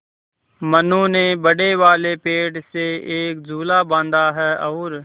मनु ने बड़े वाले पेड़ से एक झूला बाँधा है और